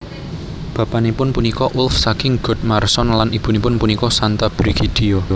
Bapanipun punika Ulf saking Godmarsson lan ibunipun punika Santa Brigidia